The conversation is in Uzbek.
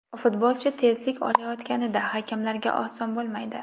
Futbolchi tezlik olayotganida hakamlarga oson bo‘lmaydi.